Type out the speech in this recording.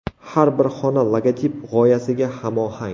Har bir xona logotip g‘oyasiga hamohang!